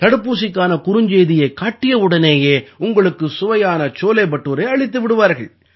தடுப்பூசிக்கான குறுஞ்செய்தியைக் காட்டியவுடனேயே உங்களுக்கு சுவையான சோலே படூரே அளித்து விடுவார்கள்